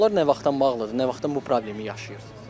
Yollar nə vaxtdan bağlıdır, nə vaxtdan bu problemi yaşayırsınız?